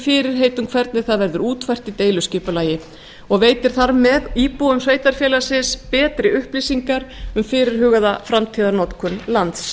fyrirheit um hvernig það verður útfært í deiliskipulagi og veitir þar með íbúum sveitarfélagsins betri upplýsingar um fyrirhugaða framtíðarnotkun lands